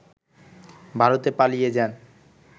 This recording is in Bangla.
ভারতে পালিয়ে যান